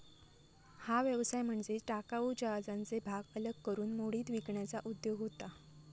हा व्यवसाय म्हणजे टाकाऊ जहाजांचे भाग अलग करून मोडीत विकण्याचा उद्योग होता.